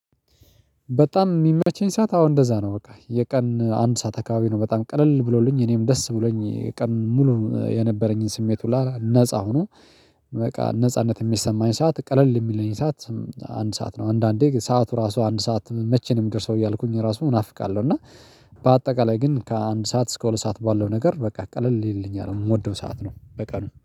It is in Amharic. በጣም የሚመቸኝ ሰዓት አዎ እንደዛ ነው በቃ የቀን አንድ ሰዓት አካባቢ ነው በጣም ቀለል ብሎልኝ እኔም ደስ ብሎኝ የቀን ሙሉ የነበረኝን ስሜት ሁላ ነፃ ሁኖ በቃ ነጻነት የሚሰማኝ ሰዓት ቀለል የሚለኝ ሰዓት። አንድ ሰዓት ነው አንዳንዴ ሰዓቱ ራሱ አንድ ሰዓት መቼ ነው ሚደርሰው እያልኩኝ ራሱ እናፍቃለው እና። በአጠቃላይ ግን ከአንድ ሰዓት እስከ ሁለት ሰዓት ባለው ነገር በቃ ቀለል ይልልኛል የምወደው ሰዓት ነው። በቀኑ